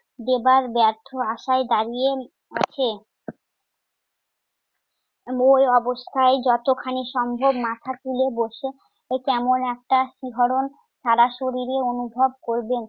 দেবার ব্যর্থ আশায় দাঁড়িয়ে আছে। ঐ অবস্থায় যতখানি সম্ভব মাথা তুলে বসে এ কেমন একটা শিহরণ সারা শরীরে অনুভব করবেন।